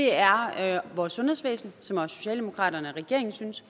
er vores sundhedsvæsen som også socialdemokraterne og regeringen synes